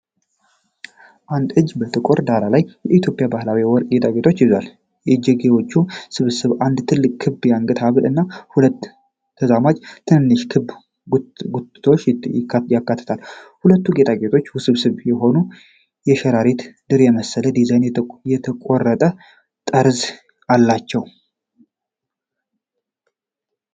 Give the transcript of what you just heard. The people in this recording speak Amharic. አንድ እጅ በጥቁር ዳራ ላይ የኢትዮጵያ ባህላዊ ወርቅ ጌጣጌጦችን ይዟል። የእጅጌዎቹ ስብስብ አንድ ትልቅ ክብ የአንገት ሀብል እና ሁለት ተዛማጅ ትንንሽ ክብ ጉትቻዎችን ያካትታል። ሁሉም ጌጣጌጦች ውስብስብ የሆነ የሸረሪት ድር የመሰለ ዲዛይን የተቆረጠ ጠርዝ አላቸው።